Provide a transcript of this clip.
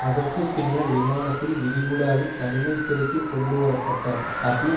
அதற்கு பின்னர் விமானத்தில் விரி குடாவில் தனிமைச்சிறைக்கு கொண்டு வரப்பட்டார் ஹபீப்